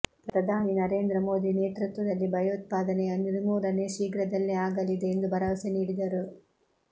ಪ್ರಧಾನಿ ನರೇಂದ್ರ ಮೋದಿ ನೇತೃತ್ವದಲ್ಲಿ ಭಯೋತ್ಪಾದನೆಯ ನಿರ್ಮೂಲನೆ ಶೀಘ್ರದಲ್ಲೇ ಆಗಲಿದೆ ಎಂದು ಭರವಸೆ ನೀಡಿದರು